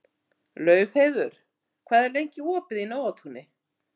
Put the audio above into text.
Laugheiður, hvað er lengi opið í Nóatúni?